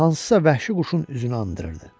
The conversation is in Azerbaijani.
Üzü hansısa vəhşi quşun üzünü andırırdı.